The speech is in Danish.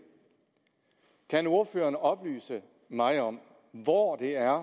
kan ordføreren oplyse mig om hvor det er